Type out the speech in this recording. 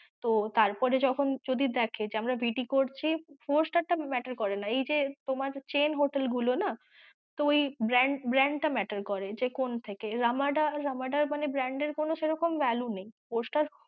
তো তারপরে যখন যদি দেখে যে আমরা VT করছি four star টা matter করে না, এই যে তোমাদের chain hotel গুলো না তো এই brand brand টা matter করে যে কোন থেকে, রামাডা রামাডার মানে brand এর সেরকম কোনো value নেই